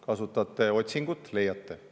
Kasutate otsingut, leiate.